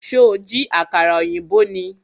Ṣó jí àkàrà ọ̀yìnbó ni?